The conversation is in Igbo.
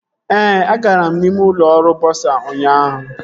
Ee, agara m ime ụlọ ọrụ bọsa ụnyaahụ